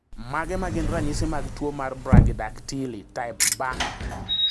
Mage magin ranyisi mar tuo mar Brachydactyly type B?